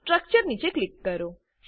structure નીચ click કરો